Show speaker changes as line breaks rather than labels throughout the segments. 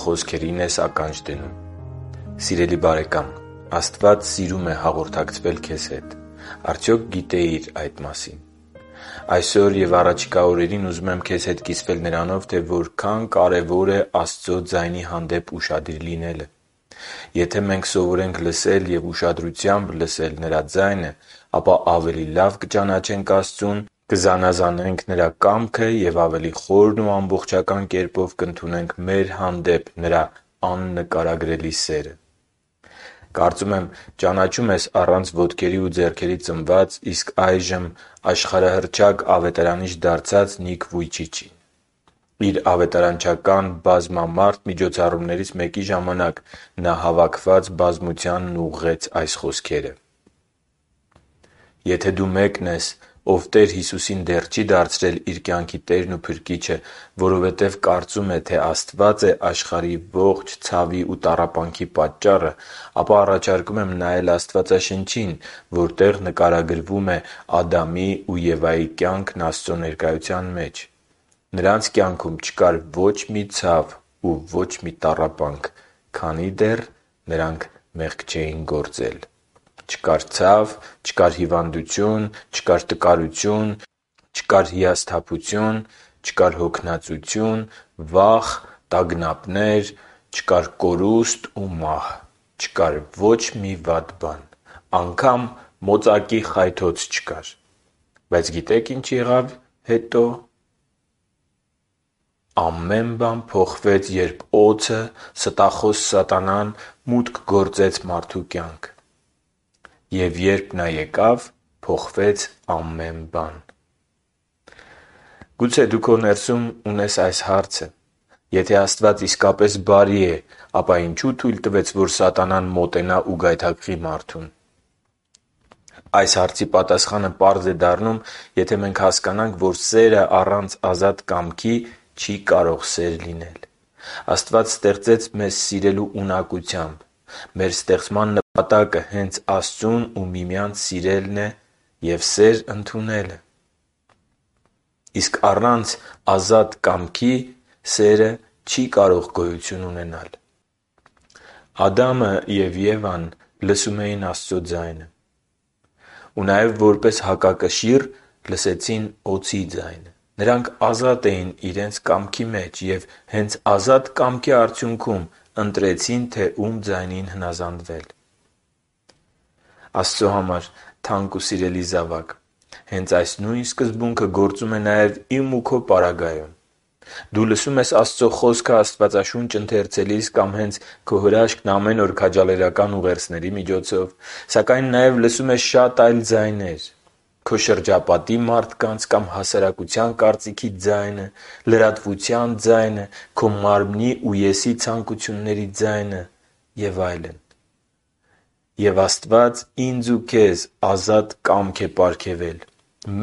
խոսքերին ես ականջ դնում Սիրելի՛ բարեկամ, Աստված սիրում է հաղորդակցվել ձեզ հետ։ Արդյոք գիտեի՞ր այդ մասին։ Այսօր և առաջիկա օրերին ուզում եմ քեզ հետ կիսվել նրանով, թե որքան կարևոր է Աստծո ձայնի հանդեպ ուշադիր լինելը։ Եթե մենք սովորենք լսել և ուշադրությամբ լսել Նրա ձայնը, ապա ավելի լավ կճանաչենք Աստծուն, կզանազանենք Նրա կամքը և ավելի խորն ու ամբողջական կերպով կընդունենք մեր հանդեպ Նրա աննկարագրելի սերը։ Կարծում եմ ճանաչում ես առանց ոտքերի ու ձեռքերի ծնված, իսկ այժմ աշխարհահռչակ ավետարանիչ դարձած Նիք Վույչիչին։ Իր ավետարանչական բազմամարդ միջոցառումներից մեկի ժամանակ, նա հավաքված բազմությանն ուղղեց այս խոսքերը. «Եթե դու մեկն ես, ով Տեր Հիսուսին դեռ չի դարձրել իր կյանքի Տերն ու Փրկիչը, որովհետեւ կարծում է, թե Աստված է աշխարհի ողջ ցավի ու տառապանքի պատճառը, ապա առաջարկում եմ նայել Աստվածաշնչին, որտեղ նկարագրվում է Ադամի ու Եվայի կյանքն Աստծո ներկայության մեջ։ Նրանց կյանքում չկար ոչ մի ցավ ու ոչ մի տառապանք․․․, քանի դեռ նրանք մեղք չէին գործել։ Չկար ցավ, չկար հիվանդություն, չկար տկարություն, չկար հիասթափություն, չկար հոգնածություն, վախ ու տագնապներ, չկար կորուստ ու մահ։ Չկար ոչ մի վատ բան։ Անգամ մոծակի խայթոց չկար։ Բայց գիտեք՝ ի՞նչ եղավ հետո։ Ամեն բան փոխվեց, երբ օձը՝ ստախոս սատանան, մուտք գործեց մարդու կյանք։ Եվ երբ նա եկավ, փոխվեց ամեն բան»։ Գուցե դու քո ներսում ունես այս հարցը. «Եթե Աստված իսկապես բարի է, ապա ինչո՞ւ թույլ տվեց, որ սատանան մոտենա ու գայթակղի մարդուն»։ Այս հարցի պատասխանը պարզ է դառնում, եթե մենք հասկանանք, որ սերը առանց ազատ կամքի սեր չէ։ Աստված ստեղծեց մեզ սիրելու ունակությամբ։ Մեր ստեղծման նպատակը հենց Աստծուն ու միմյանց սիրելն և սեր ընդունելն է։ Իսկ սերն առանց ազատ կամքի չի կարող գոյություն ունենալ։ Ադամն ու Եվան լսում էին Աստծո ձայնը։ Եվ որպես հակակշիռ լսեցին նաև օձի ձայնը։ Նրանք ազատ էին իրենց կամքի մեջ և հենց ազատ կամքի արդյունքում ընտրեցին, թե ում ձայնին հնազանդվել։ Աստծո համար թանկ ու սիրելի զավա՛կ, հենց այս նույն սկզբունքը գործում է նաև իմ և քո պարագայում։ Դու լսում ես Աստծո Խոսքը Աստվածաշունչ ընթերցելիս կամ հենց «Քո հրաշքն ամեն օր» քաջալերական ուղերձներիի միջոցով։ Սակայն նաև լսում ես շատ այլ ձայներ՝ քո շրջապատի մարդկանց կամ հասարակության կարծիքի ձայնը, լրատվության ձայնը, քո մարմնի ու ես-ի ցանկությունների ձայնը և այլն։ Եվ Աստված ինձ ու քեզ ազատ կամք է պարգևել։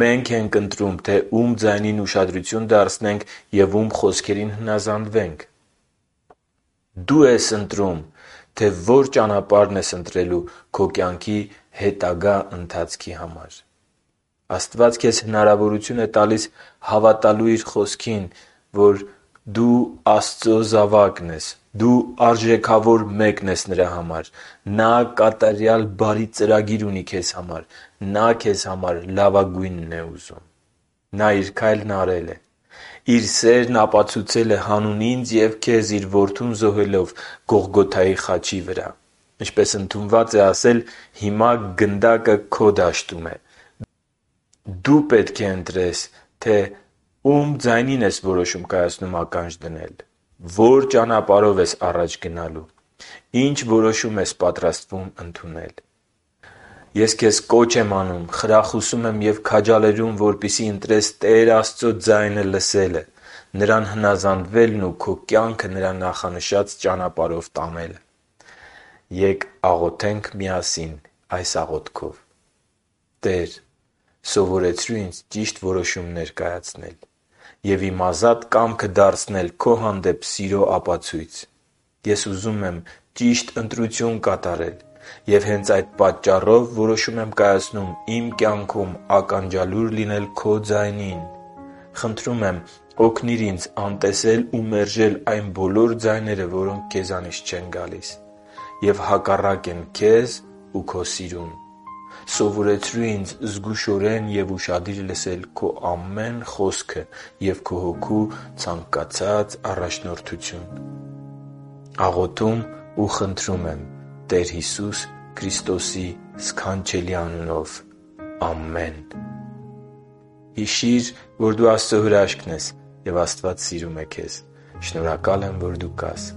Մե՛նք ենք ընտրում, թե ո՞ւմ ձայնին ուշադրություն դարձնենք և ո՞ւմ խոսքերին հնազանդվենք։ Դո՛ւ ես ընտրում, թե ո՞ր ճանապարհն ես ընտրում քո կյանքի հետագա ընթացքի համար: Աստված քեզ հնարավորություն է տալիս հավատալու Իր Խոսքին, որ․․․ - դու Աստծո զավակ ես, - դու արժեքավոր մեկն ես Նրա համար, - Նա կատարյալ բարի ծրագիր ունի քեզ համար, - Նա քեզ համար լավագույնն է ուզում։ Նա Իր քայլն արել է։ Նա Իր սերն ապացուցել է՝ հանուն ինձ և քեզ Իր Որդուն զոհելով Գողգոթայի խաչի վրա։ Ինչպես ընդունված է ասել՝ հիմա գնդակը քո դաշտում է։ Դու պետք է ընտրես, թե.․․ - ո՞ւմ ձայնին ես որոշում կայացնում ականջ դնել, - ո՞ր ճանապարհով ես առաջ գնալու, - ի՞նչ որոշում ես պատրաստվում ընդունել։ Ես քեզ կոչ եմ անում, խրախուսում եմ և քաջալերում, որպեսզի ընտրես Տեր Աստծո ձայնը լսելը, Նրան հնազանդվելն ու քո կյանքը Նրա նախանշած ճանապարհով տանելը։ Ե՛կ աղոթենք միասին այս աղոթքով․ «Տե՛ր, սովորեցրու ինձ ճիշտ որոշումներ կայացնել և իմ ազատ կամքը դարձնել Քո հանդեպ սիրո ապացույց։ Ես ուզում եմ ճիշտ ընտրություն կատարել։ Եվ հենց այդ պատճառով որոշում եմ կայացնում իմ կյանքում ականջալուր լինել Քո ձայնին։ Խնդրում եմ՝ օգնիր ինձ անտեսել ու մերժել այն բոլոր ձայները, որոնք Քեզանից չեն գալիս և հակառակ են Քեզ ու Քո սիրուն։ Սովորեցրու ինձ զգուշորեն ու ուշադիր լսել Քո ամեն խոսքը և Քո Հոգու առաջնորդությունը։ Աղոթում ու խնդրում եմ Տեր Հիսուսի սքանչելի անունով։ Ամեն»։ Հիշի՛ր, որ դու Աստծո հրաշքն ես, և Աստված սիրում է քեզ։ Շնորհակալ եմ, որ դու կա՛ս